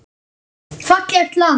Fallegt land.